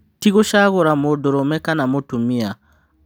" Ti gũcagũra mũndũrũme kana mũtumia,